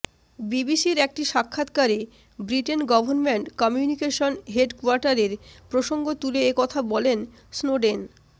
বিবিসির একটি সাক্ষাৎকারে ব্রিটেন গভর্নমেন্ট কমিউনিকেশন হেডকোয়ার্টারের প্রসঙ্গ তুলে এ কথা বলেন স্নোডেন